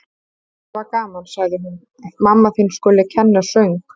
Það var gaman, sagði hún: Að mamma þín skuli kenna söng.